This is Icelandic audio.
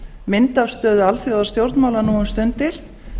mynd af stöðu alþjóðastjórnmála nú um stundir